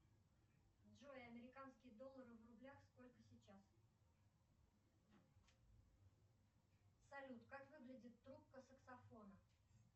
джой американский доллар в рублях сколько сейчас салют как выглядит трубка саксофона